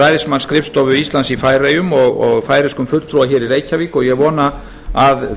ræðismannsskrifstofu íslands í færeyjum og færeyskum fulltrúa í reykjavík og ég vona að